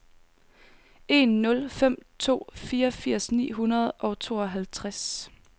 en nul fem to fireogfirs ni hundrede og tooghalvtreds